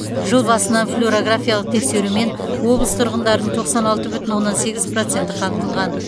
жыл басынан флюрографиялық тексерумен облыс тұрғындарының тоқсан алты бүтін оннан сегіз проценті қамтылған